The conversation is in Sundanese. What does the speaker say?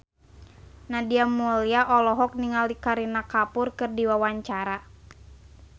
Nadia Mulya olohok ningali Kareena Kapoor keur diwawancara